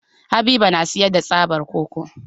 Habibu na sayar da tsaban koko.